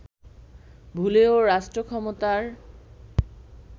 ভুলেও রাষ্ট্র ক্ষমতার